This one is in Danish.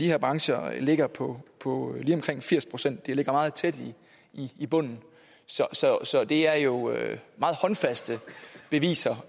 her brancher ligger på på lige omkring firs procent de ligger meget tæt i bunden så det er jo meget håndfaste beviser